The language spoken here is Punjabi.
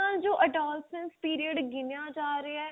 ਅੱਜ ਕੱਲ ਜੋ adolescence period ਗਿਣਿਆ ਜਾ ਰਿਹਾ